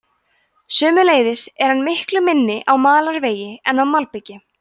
sömuleiðis er hann miklu minni á malarvegi en á malbiki